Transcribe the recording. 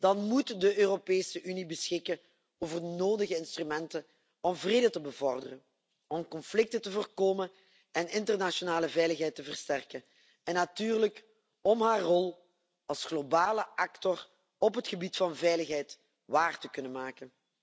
Dan moet de Europese Unie beschikken over de nodige instrumenten om vrede te bevorderen, om conflicten te voorkomen en internationale veiligheid te versterken, en natuurlijk om haar rol als globale speler op het gebied van veiligheid waar te kunnen maken.